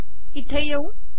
इथे येऊ